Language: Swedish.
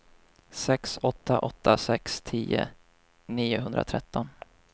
sex åtta åtta sex tio niohundratretton